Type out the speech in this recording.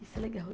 Isso é legal.